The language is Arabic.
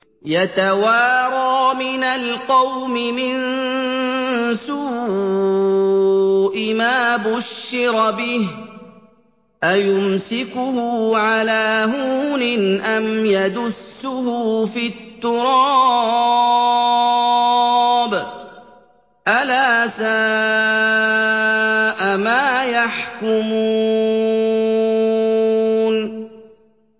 يَتَوَارَىٰ مِنَ الْقَوْمِ مِن سُوءِ مَا بُشِّرَ بِهِ ۚ أَيُمْسِكُهُ عَلَىٰ هُونٍ أَمْ يَدُسُّهُ فِي التُّرَابِ ۗ أَلَا سَاءَ مَا يَحْكُمُونَ